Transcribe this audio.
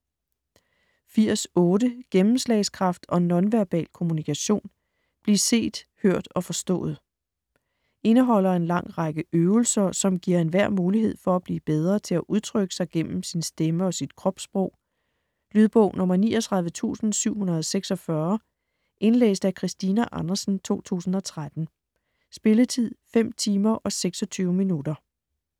80.8 Gennemslagskraft & nonverbal kommunikation: bliv set, hørt og forstået Indeholder en lang række øvelser, som giver enhver mulighed for at blive bedre til at udtrykke sig gennem sin stemme og sit kropssprog. Lydbog 39746 Indlæst af Christina Andersen, 2013. Spilletid: 5 timer, 26 minutter.